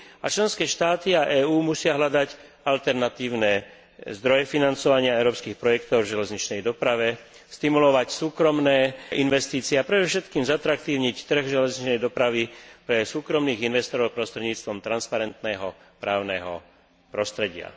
Členské štáty a EÚ musia hľadať alternatívne zdroje financovania európskych projektov v železničnej doprave, stimulovať súkromné investície a predovšetkým zatraktívniť trh železničnej dopravy pre súkromných investorov prostredníctvom transparentného právneho prostredia.